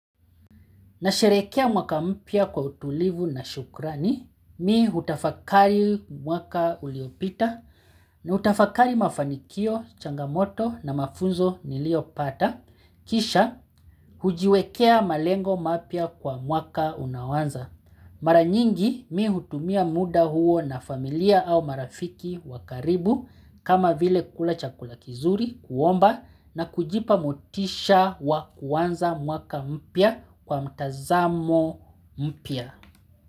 Nasherekea mwaka mpya kwa utulivu na shukrani, mimi hutafakari mwaka uliopita, na utafakari mafanikio, changamoto na mafunzo niliopata, kisha hujiwekea malengo mapya kwa mwaka unaoanza. Mara nyingi mii hutumia muda huo na familia au marafiki wa karibu kama vile kula chakula kizuri kuomba na kujipa motisha wa kuanza mwaka mpya kwa mtazamo mpya.